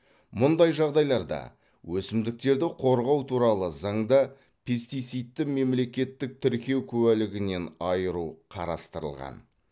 мұндай жағдайларда өсімдіктерді қорғау туралы заңда пестицидті мемлекеттік тіркеу куәлігінен айыру қарастырылған